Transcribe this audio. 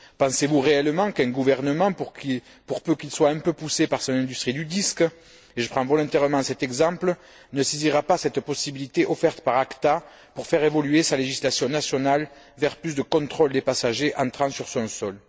Pensez vous réellement qu'un gouvernement, pour peu qu'il soit un peu poussé par son industrie du disque et je prends volontairement cet exemple ne saisira pas cette possibilité offerte par ACTA pour faire évoluer sa législation nationale vers plus de contrôles des passagers entrant sur son sol?